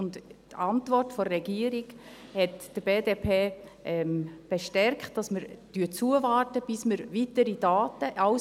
Die Antwort der Regierung hat die BDP darin bestärkt, dass wir zuwarten, bis wir weitere Daten haben.